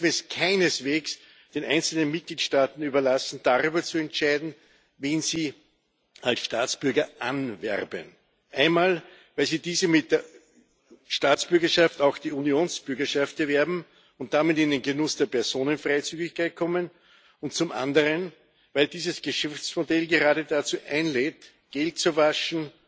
Wir dürfen es keineswegs den einzelnen Mitgliedstaaten überlassen, darüber zu entscheiden, wen sie als Staatsbürger anwerben einmal, weil diese mit der Staatsbürgerschaft auch die Unionsbürgerschaft erwerben und damit in den Genuss der Personenfreizügigkeit kommen, und zum anderen, weil dieses Geschäftsmodell gerade dazu einlädt, Geld zu waschen,